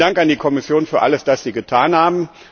Vielen Dank an die Kommission für alles, was sie getan haben.